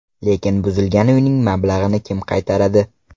Lekin buzilgan uyning mablag‘ini kim qaytaradi?